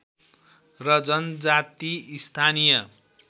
र जनजाति स्थानीय